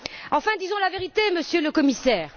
Enfin, disons la vérité, Monsieur le Commissaire.